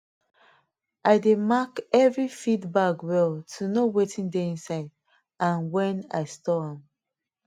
i dey mark every feed bag well to know wetin dey inside and when i store am